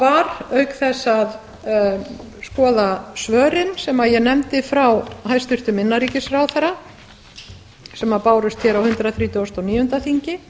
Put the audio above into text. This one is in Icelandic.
var auk þess að skoða svörin sem ég nefndi frá hæstvirtum innanríkisráðherra sem bárust hér á hundrað þrítugasta og níunda þingi